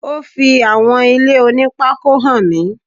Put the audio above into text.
Ó fi àwọn ilé oní pákó hàn mí.